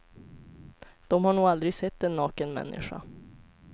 Dom har nog aldrig sett en naken människa.